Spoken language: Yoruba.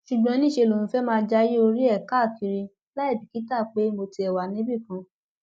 ṣùgbọn níṣẹ lòun fẹẹ máa jayé orí ẹ káàkiri láì bìkítà pé mo tiẹ wà níbìkan